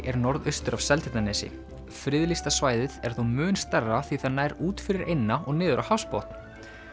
er norðaustur af Seltjarnarnesi friðlýsta svæðið er þó mun stærra því að það nær út fyrir eyna og niður á hafsbotn